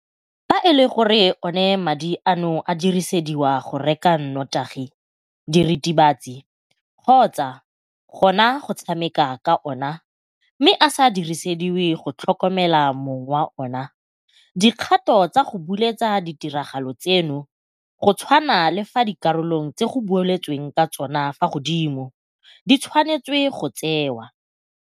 "Fa e le gore madi ano a dirisediwa go reka notagi, diritibatsi kgotsa gona go tshameka ka ona mme a sa dirisediwe go tlhokomela mong wa ona, dikgato tsa go buletsa ditiragalo tseno go tshwana le fa dikarolong tse go boletsweng ka tsona fa godimo di tshwanetswe go tsewa,"